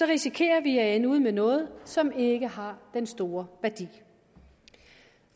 risikerer vi at ende ud med noget som ikke har en stor værdi